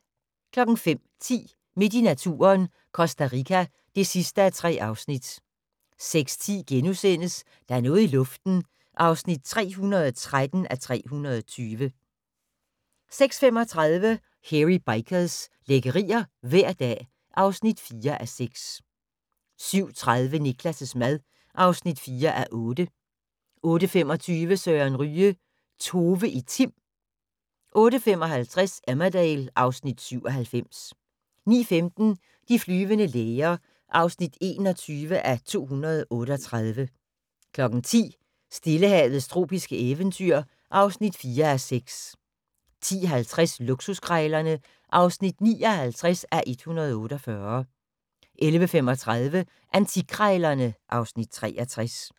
05:10: Midt i naturen – Costa Rica (3:3) 06:10: Der er noget i luften (313:320)* 06:35: Hairy Bikers – lækkerier hver dag (4:6) 07:30: Niklas' mad (4:8) 08:25: Søren Ryge: Tove i Tim 08:55: Emmerdale (Afs. 97) 09:15: De flyvende læger (21:238) 10:00: Stillehavets tropiske eventyr (4:6) 10:50: Luksuskrejlerne (59:148) 11:35: Antikkrejlerne (Afs. 63)